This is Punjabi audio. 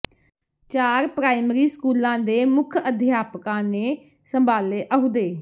ਚਾਰ ਪ੍ਰਾਇਮਰੀ ਸਕੂਲਾਂ ਦੇ ਮੁੱਖ ਅਧਿਆਪਕਾਂ ਨੇ ਸੰਭਾਲੇ ਅਹੁਦੇ